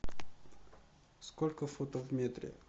сколько футов в метре